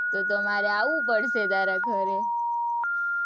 તો તો મારે આવવું પડશે તારા ઘરે